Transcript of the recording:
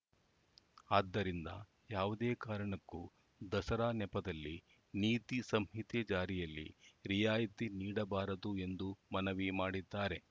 ಅದ್ದರಿಂದ ಯಾವುದೇ ಕಾರಣಕ್ಕೂ ದಸರಾ ನೆಪದಲ್ಲಿ ನೀತಿ ಸಂಹಿತೆ ಜಾರಿಯಲ್ಲಿ ರಿಯಾಯಿತಿ ನೀಡಬಾರದು ಎಂದು ಮನವಿ ಮಾಡಿದ್ದಾರೆ